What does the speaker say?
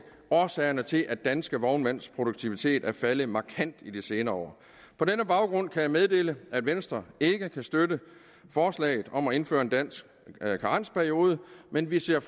årsagerne til at danske vognmænds produktivitet er faldet markant i de senere år på denne baggrund kan jeg meddele at venstre ikke kan støtte forslaget om at indføre en dansk karensperiode men vi ser